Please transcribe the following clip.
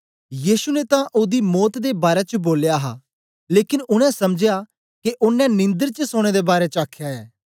यीशु ने तां ओदी मौत दे बारै च बोलया हा लेकन उनै समझया के ओनें निंदर च सौनें दे बारै आखया ऐ